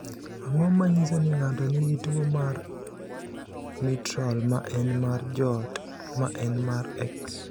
Ang’o ma nyiso ni ng’ato nigi tuwo mar Mitral, ma en mar joot, ma en mar X?